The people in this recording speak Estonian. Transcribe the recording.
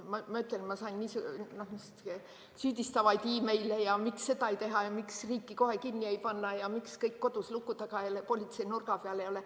Ma ütlen, ma sain süüdistavaid meile, et miks seda ei tehta ja miks riiki kohe kinni ei panda ja miks kõik kodus luku taga ja politsei nurga peal ei ole.